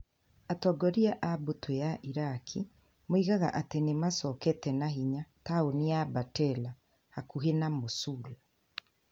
Atongoria a mbũtũ ya Iraki moigaga atĩ nĩ maacokete na hinya taũni ya Bartella, hakuhĩ na Mosul.